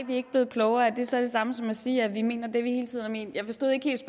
vi er ikke blevet klogere er det så det samme som at sige at vi mener det vi hele tiden har ment jeg forstod ikke helt